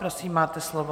Prosím, máte slovo.